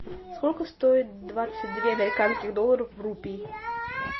сколько стоит двадцать две американских долларов в рупий